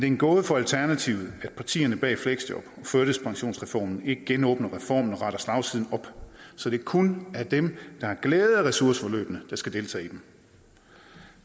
en gåde for alternativet at partierne bag fleksjob og førtidspensionsreformen ikke genåbner reformen og retter slagsiden op så det kun er dem der har glæde af ressourceforløbene der skal deltage i dem